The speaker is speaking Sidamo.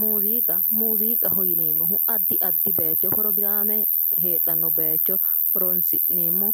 Muziiqa muziiqaho yineemmohu addi addi baycho forograame heedhannota baycho horoonsi'neemmo